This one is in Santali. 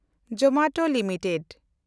Zomato limited